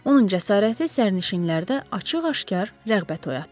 Onun cəsarəti sərnişinlərdə açıq-aşkar rəğbət oyatdı.